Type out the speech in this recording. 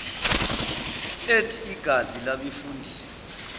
ethi igazi labefundisi